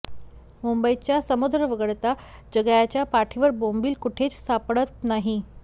मुंबईचा समुद्र वगळता जगाच्या पाठीवर बोंबील कुठेच सापडत नाही